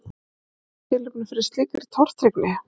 En er tilefni fyrir slíkri tortryggni?